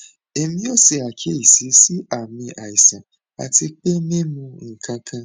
emi o se akiyesi si aami aisan ati pe mi mu nkankan